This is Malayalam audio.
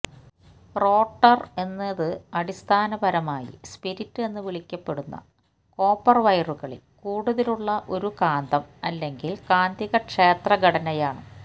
റോട്ടർ എന്നത് അടിസ്ഥാനപരമായി സ്പിരിറ്റ് എന്ന് വിളിക്കപ്പെടുന്ന കോപ്പർ വയറുകളിൽ കൂടുതലുള്ള ഒരു കാന്തം അല്ലെങ്കിൽ കാന്തികക്ഷേത്ര ഘടനയാണ്